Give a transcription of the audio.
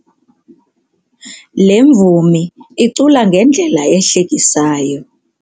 Le mvumi icula ngendlela ehlekisayo.